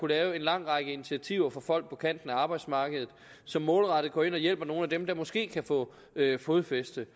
lave en lang række initiativer for folk på kanten af arbejdsmarkedet som målrettet går ind og hjælper nogle af dem der måske kan få fodfæste